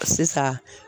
Sisan